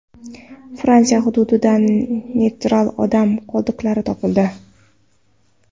Fransiya hududidan Neandertal odam qoldiqlari topildi.